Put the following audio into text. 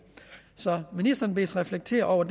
så ministeren bedes reflektere over